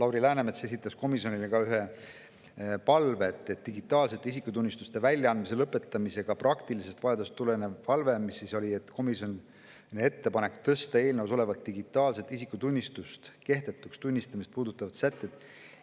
Lauri Läänemets oli esitanud komisjonile ka palve, digitaalsete isikutunnistuste väljaandmise lõpetamisega seotud praktilisest vajadusest tuleneva palve, et tõsta eelnõus olevad digitaalse isikutunnistuse kehtetuks tunnistamist puudutavad sätted